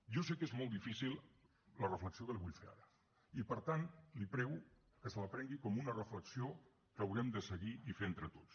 jo sé que és molt difícil la reflexió que li vull fer ara i per tant li prego que se la prengui com una reflexió que haurem de seguir i fer entre tots